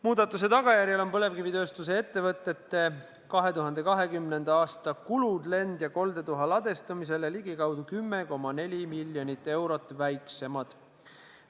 Muudatuse tulemusel on põlevkivitööstuse ettevõtete 2020. aasta kulud lend- ja koldetuha ladestamisele ligikaudu 10,4 miljonit eurot väiksemad.